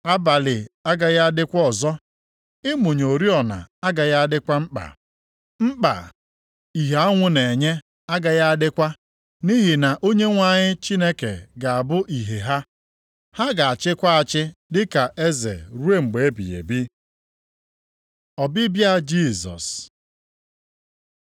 Abalị agaghị adịkwa ọzọ, ịmụnye oriọna agaghị adịkwa mkpa. Mkpa ìhè anwụ na-enye agaghị adịkwa nʼihi na Onyenwe anyị Chineke ga-abụ ìhè ha, ha ga-achịkwa achị dịka eze ruo mgbe ebighị ebi. Ọbịbịa Jisọs